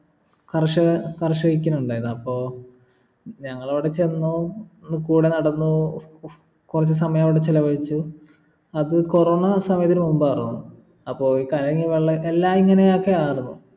കർഷക കർഷകിക്കുന്നിണ്ടായത് അപ്പൊ ഞങ്ങളവിടെ ചെന്നു കൂടെ നടന്നു കൊറച്ചു സമയവിടെ ചെലവഴിച്ചു അത് corona സമയത്തിനു മുമ്പായിരുന്നു അപ്പൊ ഈ കലങ്ങിയ വെള്ളോ എല്ലാ ഇങ്ങനൊക്കെ ആർന്നു